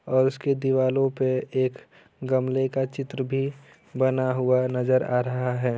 और उसके दीवालों पे एक गमले का चित्र भी बना हुआ नजर आ रहा है।